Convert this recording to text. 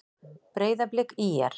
Breiðablik- ÍR